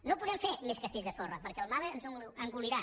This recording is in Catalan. no podem fer més castells de sorra perquè el mar ens ho engolirà